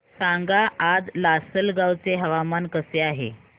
सांगा आज लासलगाव चे हवामान कसे आहे